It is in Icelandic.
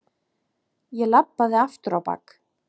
Ég labbaði aftur á bak.